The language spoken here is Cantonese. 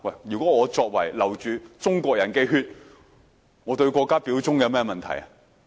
如果我流着中國人的血，我對國家表忠有甚麼問題？